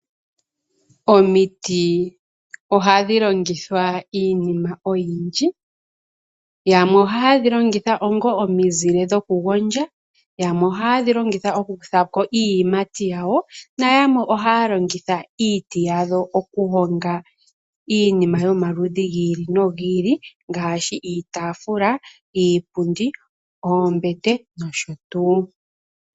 Omiti ohadhi longithwa iinima oyindji. Yamwe ohaye dhi longitha onga omizile dhokugondja, yamwe ohaye dhi longitha okukutha ko iiyimati yawo nayamwe ohaya longitha iiti yadho okuhonga iinima yomaludhi gi ili nogi ili ngaashi iitaafula, iipundi, oombete nosho tuu.